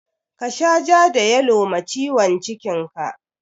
Ka sha ja da yalo ma ciwon cikin ka!